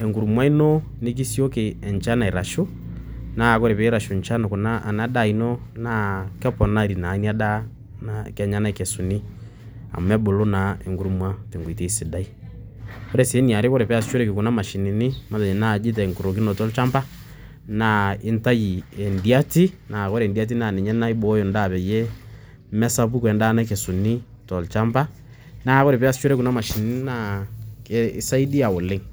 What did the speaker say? enkurma ino, nikisioki enchan aitashu, naa wore pee itashu enchan kuna ena daa ino, naa keponari naa inia daa naa kenya naikesuni amu ebulu naa enkurma tewoji sidai. Wore sii eniare wore pee easishoreki kuna mashinini matejo naaji tenkorikinoto olchamba, naa intayu endiati naa wore endiati naa ninye naibooyo endaa peeyie mesapuku endaa nakesuni tolchamba. Naa wore pee iasishore kuna mashinini naa ekisaidia oleng'.